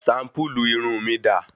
Shampulu irun mí dà?